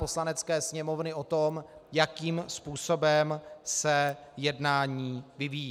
Poslanecké sněmovny o tom, jakým způsobem se jednání vyvíjí.